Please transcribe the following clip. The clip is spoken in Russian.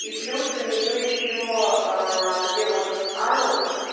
и плюс у нее ещё где вот анус